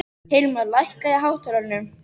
Hilmar, lækkaðu í hátalaranum.